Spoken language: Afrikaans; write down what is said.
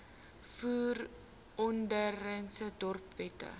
voer verordeninge dorpswette